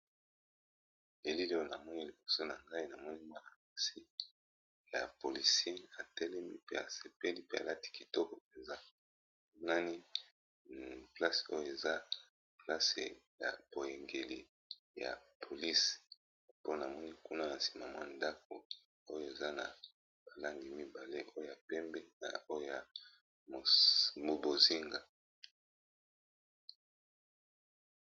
Elili oyo namoni liboso nangai nazomona policien atelemi pe asepeli alati kitoko penza place oyo eza ya poyengeli ya ba polices po namoni kuna nasima ba langi ya bonzinga pe na pembe.